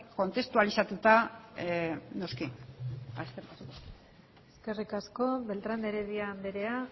kontestualizatuta noski eskerrik asko eskerrik asko beltrán de heredia andrea